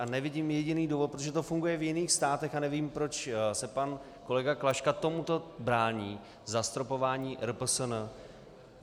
A nevidím jediný důvod, protože to funguje v jiných státech, a nevím, proč se pan kolega Klaška tomuto brání - zastropování RPSN.